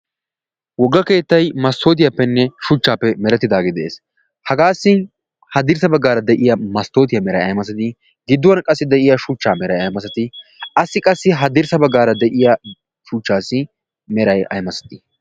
Wogga keettay mastootiyaappenne shuchchaappe merettidaage de'ees. Hagaassi haddirssa baggaara de'iya masttootiyaa meray ayi masati? Gidduwan qassi de'iya shuchchaa meray ayi masati? Assi qassi ha dirssa baggaara de'iya shuchchaassi meray ayi masatii?